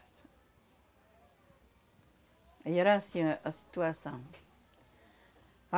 Aí era assim a a situação.